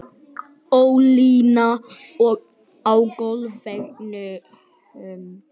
Ólína á golfvellinum.